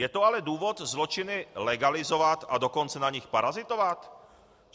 Je to ale důvod zločiny legalizovat, a dokonce na nich parazitovat?